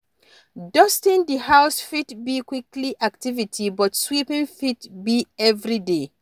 Dusting di house fit be weekly activity but sweeping fit be everyday